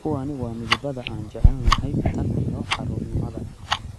Kuwani waa midabada aan jecelnahay tan iyo carruurnimada.